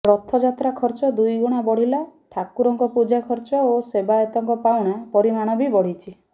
ରଥଯାତ୍ରା ଖର୍ଚ୍ଚ ଦୁଇ ଗୁଣା ବଢିଲା ଠାକୁରଙ୍କ ପୂଜା ଖର୍ଚ୍ଚ ଓ ସେବାୟତଙ୍କ ପାଉଣା ପରିମାଣ ବି ବଢିଛି